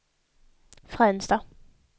Fränsta